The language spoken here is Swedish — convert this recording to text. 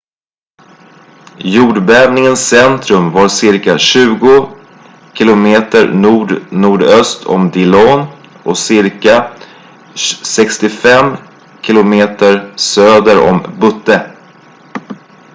jordbävningens centrum var ca 20 km nordnordöst om dillon och ca 65 km söder om butte